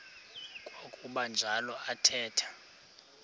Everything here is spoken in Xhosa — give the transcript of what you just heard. kwakuba njalo athetha